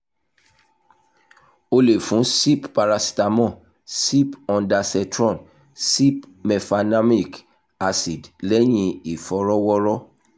o le fun sip paracetamol sip ondansetron sip mefenamic acid lẹhin ifọrọwọrọ